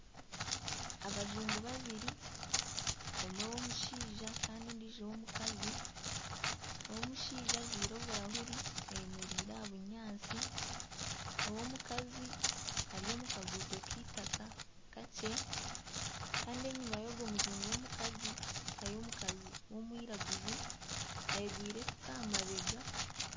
Abajungu babiri omwe w'omushaija kandi omwe w'omukazi, ow'omushaija ajwaire oburahuri ayemereire aha bunyaatsi, ow'omukazi ari omu kaguuto k'eitaaka kakye kandi enyima y'ogwo mujungu w'omukazi hariyo omukazi w'omwiraguju ayegwire efuuka aha mabeega